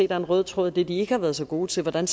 er en rød tråd i det de ikke har været så gode til hvordan